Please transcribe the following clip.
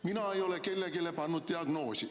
Mina ei ole kellelegi pannud diagnoosi.